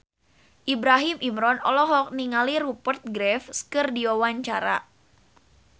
Ibrahim Imran olohok ningali Rupert Graves keur diwawancara